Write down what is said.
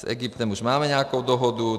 s Egyptem už máme nějakou dohodu.